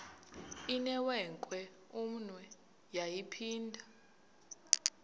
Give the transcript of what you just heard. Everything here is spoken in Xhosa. inewenkwe umnwe yaphinda